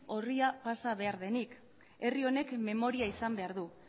orria pasa egin behar denik herri honek memoria izan behar du